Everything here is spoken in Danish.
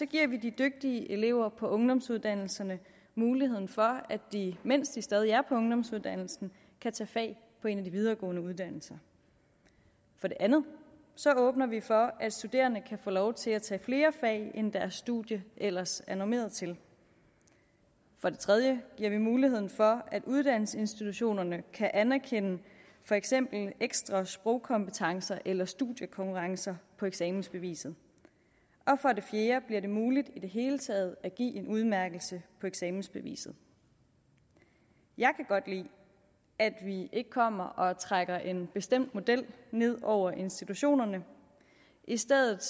giver vi de dygtige elever på ungdomsuddannelserne muligheden for at de mens de stadig er på ungdomsuddannelsen kan tage fag på en af de videregående uddannelser for det andet åbner vi for at studerende kan få lov til at tage flere fag end deres studie ellers er normeret til for det tredje giver vi muligheden for at uddannelsesinstitutionerne kan anerkende for eksempel ekstra sprogkompetencer eller studiekonkurrencer på eksamensbeviset for det fjerde bliver det muligt i det hele taget at give en udmærkelse på eksamensbeviset jeg kan godt lide at vi ikke kommer og trækker en bestemt model ned over institutionerne i stedet